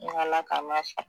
Ngo ala k'an n'a sɔn